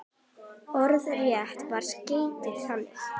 Orðrétt var skeytið þannig